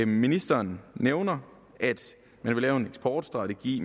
ministeren nævner at man vil lave en eksportstrategi